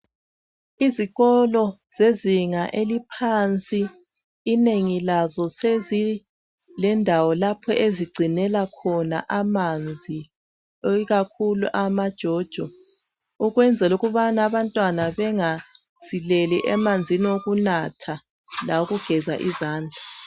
Ezikolo zezinga eliphansi inengi lazo sezilendawo lapho ezigcinela khona amanzi ikakhulu amajojo ukuze abantwana bangasileli amanzi okunatha lokugeza izandla.